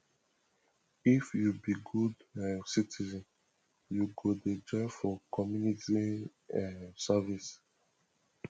if you be good um citizen you go dey join for community um service